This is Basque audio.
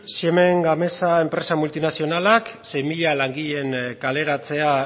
siemens gamesa enpresa multinazionalak sei mila langileen kaleratzea